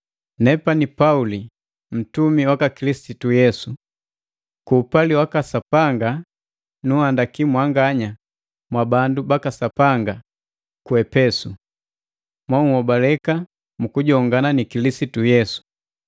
Nepani Pauli, ntumi waka Kilisitu Yesu. Ku upali waka Sapanga nunhandaki mwanganya mwabandu baka Sapanga ku Epesu, monhobaleka mu kujongana ni Kilisitu Yesu.